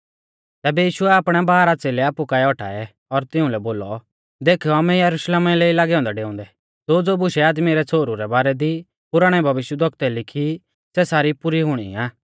तैबै यीशुऐ आपणै बारह च़ेलै आपु काऐ औटाऐ और तिउंलै बोलौ देखौ आमै यरुशलेम लै ई लागै औन्दै डेउंदै ज़ोज़ो बुशै आदमी रै छ़ोहरु रै बारै दी पुराणै भविष्यवक्तुऐ लिखी सै सारी पुरी हुणी आ